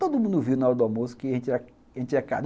Todo mundo viu na hora do almoço que a gente era casado.